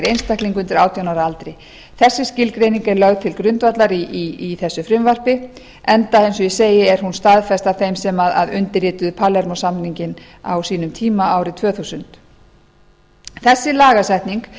einstakling undir átján ára aldri þessi skilgreining er lögð til grundvallar í þessu frumvarpi enda eins og ég segi er hún staðfest af þeim sem undirrituðu palermó samninginn á sínum tíma árið tvö þúsund þessi lagasetning